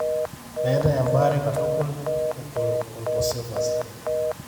meetai embaare katukul e colpocephaly.